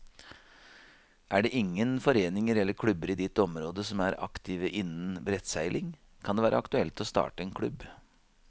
Er det ingen foreninger eller klubber i ditt område som er aktive innen brettseiling, kan det være aktuelt å starte en klubb.